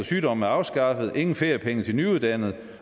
sygdom er afskaffet der er ingen feriepenge til nyuddannede